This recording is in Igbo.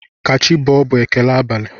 Kachibọọ bụ ekele abalị.